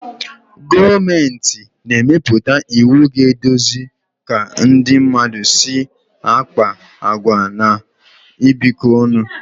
Gọọmenti na-emepụta iwu ga-eduzi ka ndị mmadụ si akpa àgwà na ibikọ ọnụ